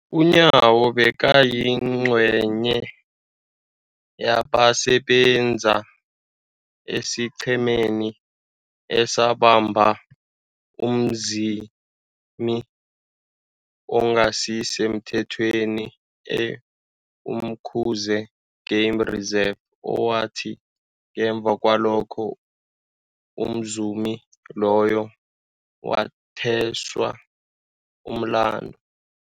UNyawo bekayingcenye yabasebenza esiqhemeni esabamba umzumi ongasisemthethweni e-Umkhuze Game Reserve, owathi ngemva kwalokho umzumi loyo wathweswa umlandu.